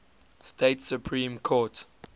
state supreme court